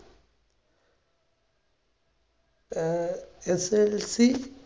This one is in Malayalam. ആ SSLC